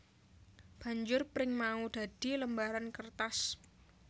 Banjur pring mau dadi lembaran kertas